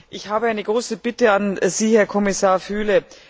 Ich habe eine große Bitte an Sie, Herr Kommissar Füle.